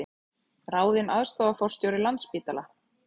Ráðinn aðstoðarforstjóri Landspítala